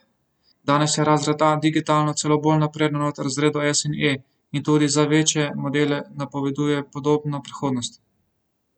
Danes je razred A digitalno celo bolj napreden od razredov S in E in tudi za večje modele napoveduje podobno prihodnost.